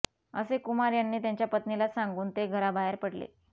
असे कुमार यांनी त्यांच्या पत्नीला सांगून ते घराबाहेर पडले